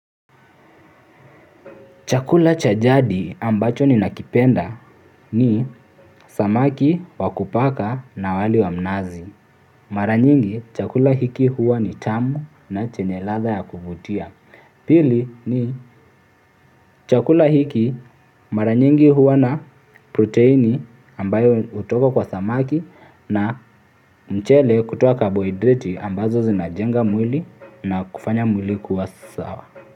Chakula cha jadi ambacho ni nakipenda ni samaki wa kupaka na wali wa mnazi. Mara nyingi chakula hiki huwa ni tamu na chenye ladha ya kuvutia. Pili ni chakula hiki mara nyingi huwa na proteini ambayo hutoka kwa samaki na mchele kutuwa kabohiderati ambazo zinajenga mwili na kufanya mwili kuwa sawa.